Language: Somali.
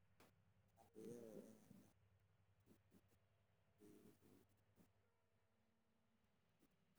Waxa laga yaabaa inay la xidhiidho hakad ku yimaadda horumarka iliga.